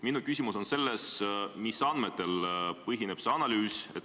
Minu küsimus on, et mis andmetel see analüüs põhineb.